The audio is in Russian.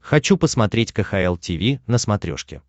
хочу посмотреть кхл тиви на смотрешке